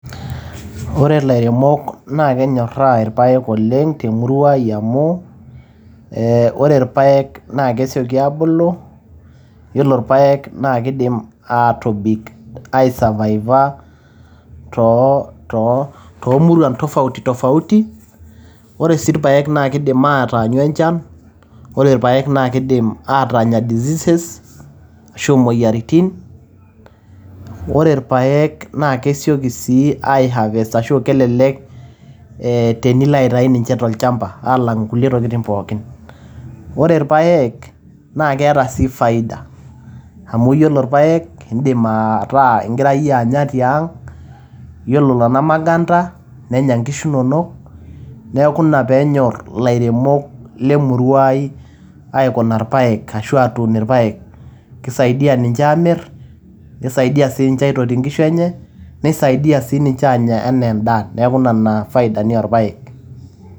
Ore lairemok naa kenyoraa ilpaek oleng te murua ai amu eeh ore irpaek naa kesioki aabulu. Yiolo irpek naa kidim aatobik aa survive aa too too toomuruan tofauti tofauti. Ore sii ilpaek naa keidim aataanyu enchan, ore ipaek naa kidim aatanya diseases ashu aa moyiaritin. Yiolo ilpaek naa kesioki sii ai harvest ashu aa kelelek tenilo aitayu ninche to olchamba aalang nkulie tokitin pookin. Ore irpaek naa keeta sii faida amu yiolo irpaek naa idim aaku igira iyie anya tiang. Yiolo nena maganda nenya nena kishu inonok. Niaku ina pee enyorr ilairemok le murua ai aikuna ilpaekashu aatuun ilpaek, keisaidia ninche aamir, keisaidia sii ninche aitotie nkishu enye, neisaidia sii ninche aanya enaa en`daa, niaku ina faida ni oo ilpaek.